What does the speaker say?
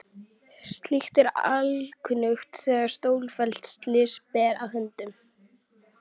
Slíkt er alkunnugt þegar stórfelld slys ber að höndum.